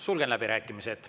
Sulgen läbirääkimised.